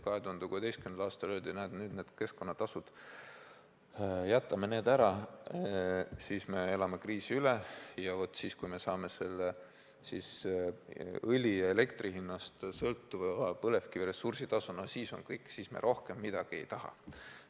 2016. aastal öeldi, et näed, jätame need keskkonnatasud ära, siis me elame kriisi üle, ja vaat siis, kui me saame õli ja elektri hinnast sõltuva põlevkivi ressursitasu, siis on kõik, siis me rohkem midagi ei taha.